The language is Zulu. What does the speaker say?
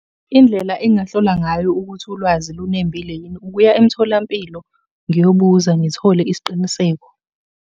Indlela engingahlola ngayo ukuthi ulwazi olunembile yini ukuya emtholampilo ngiyobuza ngithole isiqiniseko.